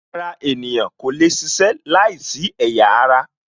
Ara ènìyàn kò lè ṣiṣẹ́ láìsí ẹ̀yà ara